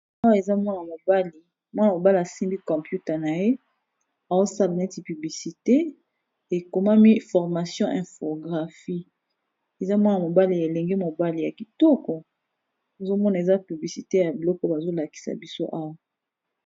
Awa eza mwana mobali, mwana mobali a simbi computer na ye azo sala neti publicité, ekomami formation infographie . Eza mwana mobali, elenge mobali ya kitoko ozo mona eza publicité ya biloko bazo lakisa biso owa .